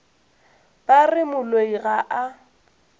ba re moloi ga a